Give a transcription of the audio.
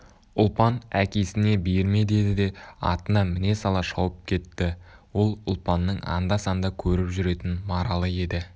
ұлпан әкесіне берме деді де атына міне сала шауып кетті ол ұлпанның анда-санда көріп жүретін маралы еді